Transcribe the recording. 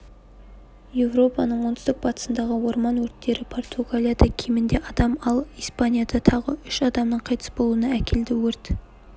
еуропаның оңтүстік-батысындағы орман өрттері португалияда кемінде адам ал испанияда тағы үш адамның қайтыс болуына әкелді өрт